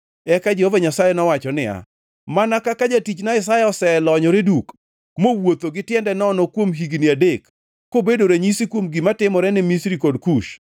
Eka Jehova Nyasaye nowacho niya, “Mana kaka jatichna Isaya oselonyore duk mowuotho gi tiende nono kuom higni adek, kobedo ranyisi kuom gima timore ne Misri kod Kush,